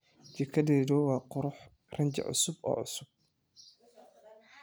Jikadaygu waa qurux, rinji cusub oo cusub.